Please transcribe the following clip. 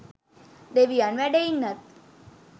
දෙවියන් වැඩ ඉන්නත්